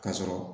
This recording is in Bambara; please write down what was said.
Ka sɔrɔ